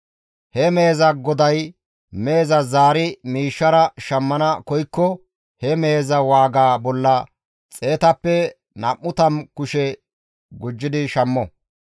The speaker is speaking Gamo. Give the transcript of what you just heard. He meheza goday meheza zaari miishshara shammana koykko he meheza waaga bolla xeetappe nam7u tammu kushe gujjidi shammo.